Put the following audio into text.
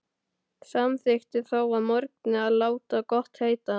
Samþykkti þó að morgni að láta gott heita.